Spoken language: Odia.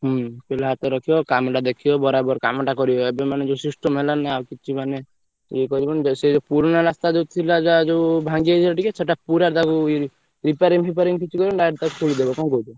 ହୁଁ ପିଲା ହାତରେ ରଖିବ କାମ ଟା ଦେଖିବ ବରାବର କାମ ଟା କରିବ ଏବେ ମାନେ ଯୋଉ system ହେଲାଣି ନା ଆଉ କିଛି ମାନେ ଇଏ କରିବନୀ ସେଇ ଯୋଉ ପୁରୁଣା ଯୋଉ ଥିଲା ଯୋଉ ଭାଂଗିଯାଇଥିଲା ଟିକେ ସେଟ ପୁର ଟାକୁ repairing feparing କିଛି କରିବନୀ direct ତାକୁ ଖୋଳିଦବ କଣ କହୁଛ?